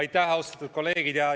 Aitäh, hea Riigikogu esimees!